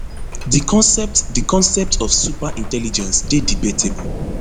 di concept di concept of super intelligence dey debatable